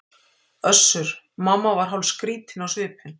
Össur-Mamma var hálfskrýtinn á svipinn.